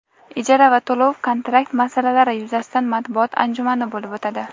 ijara va to‘lov - kontrakt masalalari yuzasidan matbuot anjumani bo‘lib o‘tadi.